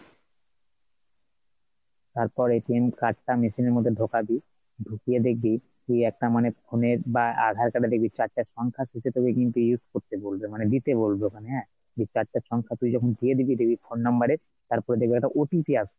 তারপর card টা machine এর মধ্যে ঢোকাবি ঢুকিয়ে দেখবি ওই একটা মানে phone এর বা আধার card এ দেখবি চারটে সংখ্যা শেষের থেকে কিন্তু use করতে বলবে মানে দিতে বলবে ওখানে হ্যাঁ, সেই চারটে সংখ্যা তুই যখন দিয়ে দিবি দেখবি phone number এ তড়পে দেখবি একটা OTP আসবে,